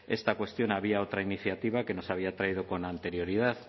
esta cuestión había otra iniciativa que nos había traído con anterioridad